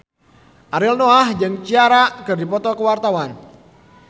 Ariel Noah jeung Ciara keur dipoto ku wartawan